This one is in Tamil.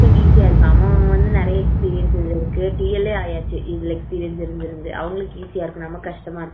அவனுக்கு இது easy இருக்கு அவன் வந்து நிறைய Experience இருக்கு TL ளே ஆகியாச்சு Experience இருந்திருந்து அவங்களுக்கு easy இருக்கும் நமக்கு கஷ்டமா இருக்கு